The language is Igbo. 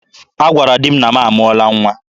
Ha gwara di m na m amụọla nwa.